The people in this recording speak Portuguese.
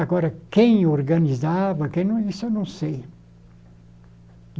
Agora, quem organizava, quem isso eu não sei.